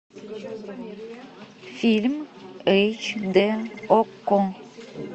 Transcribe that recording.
фильм эйч д окко